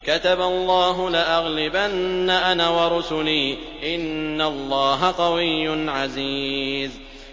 كَتَبَ اللَّهُ لَأَغْلِبَنَّ أَنَا وَرُسُلِي ۚ إِنَّ اللَّهَ قَوِيٌّ عَزِيزٌ